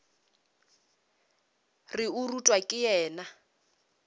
re o rutwa ke yena